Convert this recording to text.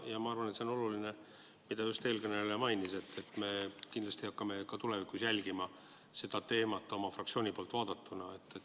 Ja ma arvan, et see on oluline asi, mida eelkõneleja just mainis – see, et me kindlasti hakkame ka tulevikus seda teemat oma fraktsiooniga jälgima.